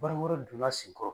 Baara wɛrɛ donn'a sen kɔrɔ